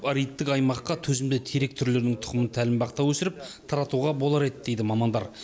аридтік аймаққа төзімді терек түрлерінің тұқымын тәлімбақта өсіріп таратуға болар еді дейді мамандар